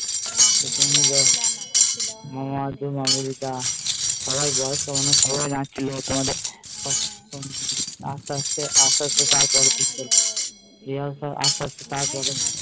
মামিমা অর্জুন নিবেদিতা সবাই বয়স্ক মানুষ সবাই নাচ্চিলো তোমাদের আস্তে আস্তে তার পরে